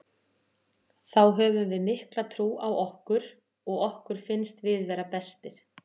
Þá höfum við mikla trú á okkur og okkur finnst við vera bestir.